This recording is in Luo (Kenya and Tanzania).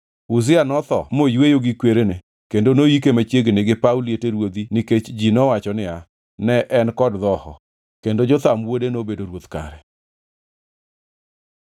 Uzia notho moyweyo gi kwerene kendo noyike machiegni gi paw liete ruodhi nikech ji nowacho niya, “Ne en kod dhoho.” Kendo Jotham wuode nobedo ruoth kare.